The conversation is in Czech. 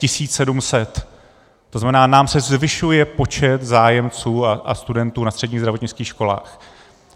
To znamená, nám se zvyšuje počet zájemců a studentů na středních zdravotnických školách.